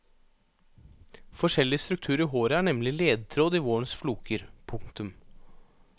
Forskjellig struktur i håret er nemlig ledetråd i vårens floker. punktum